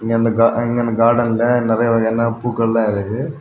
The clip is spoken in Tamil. இந்த கா இங்கன கார்டன்ல நறைய வகையான பூக்கள்லா இருக்குது.